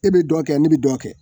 E bɛ dɔ kɛ ne bɛ dɔ kɛ